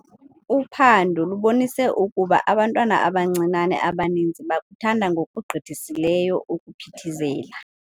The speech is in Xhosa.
Uphando lubonise ukuba abantwana abancinane abaninzi bakuthanda ngokugqithisileyo ukuphithizela.